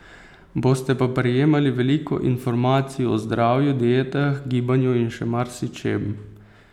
Boste pa prejemali veliko informacij o zdravju, dietah, gibanju in še marsičem.